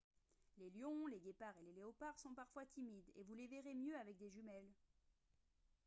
les lions les guépards et les léopards sont parfois timides et vous les verrez mieux avec des jumelles